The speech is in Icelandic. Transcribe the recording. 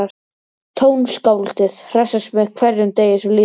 Tónskáldið hressist með hverjum degi sem líður.